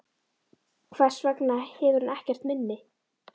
Hvers vegna hefur hún ekkert minni?